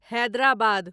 Hyderabad